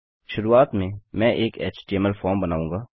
शुरूआत में मैं एक एचटीएमएल फॉर्म बनाऊँगा